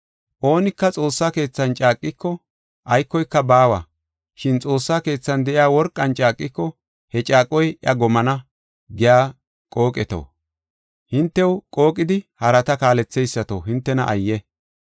“Oonika xoossa keethan caaqiko aykoyka baawa. Shin Xoossaa Keethan de7iya worqan caaqiko, he caaqoy iya gomana giya qooqeto, hintew qooqidi harata kaaletheysato, hintena ayye!